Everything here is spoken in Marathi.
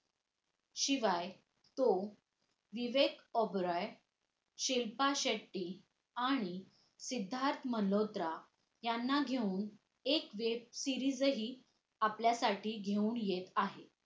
शिवाय तो विवेक ओबेरॉय, शिल्पा शेट्टी आणि सिद्धार्थ मल्होत्रा यांना घेऊन एक web series हि आपल्यासाठी घेऊन येत आहे